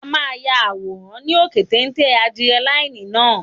A máa ya àwọn àwòrán ní òkè téńté ádírẹ́láínì náà